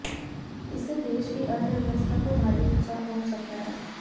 इससे देश की अर्थव्यवस्था को भारी नुकसान पहुंच सकता है